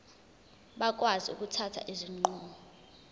bakwazi ukuthatha izinqumo